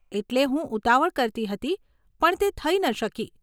એટલે હું ઉતાવળ કરતી હતી પણ તે થઇ ન શકી.